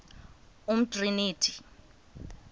umtriniti